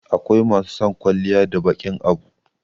akwai mai son kwalliya da baƙin Abu